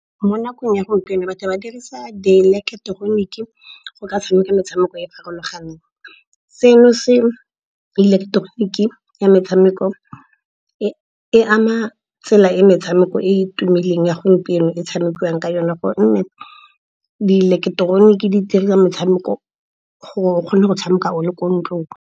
Mo nakong ya gompieno batho ba dirisa dieleketeroniki go ka tshameka metshameko e e farologaneng. Se no se ileketeroniki ya metshameko e ama tsela e metshameko e e tumileng ya gompieno e tshamekiwang ka yone, gonne di ileketeroniki di metshameko gore o kgone go tshameka o le ko ntlong.